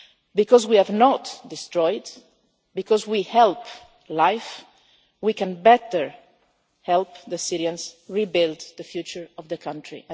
Because we have not destroyed, because we help life, we can better help the Syrians rebuild the future of the country.